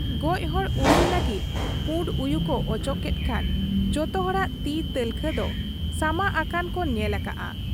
ᱜᱚᱡ ᱦᱚᱲ ᱩᱨᱩᱢ ᱞᱟᱹᱜᱤᱫ ᱯᱩᱸᱰ ᱩᱭᱩ ᱠᱚ ᱚᱪᱚᱜ ᱠᱮᱫ ᱠᱷᱟᱱ ᱡᱚᱛᱚ ᱦᱚᱲᱟᱜ ᱛᱤ ᱛᱟᱞᱠᱷᱟ ᱫᱚ ᱥᱟᱢᱟᱜ ᱟᱠᱟᱱ ᱠᱚ ᱧᱮᱞ ᱟᱠᱟᱜᱼᱟ ᱾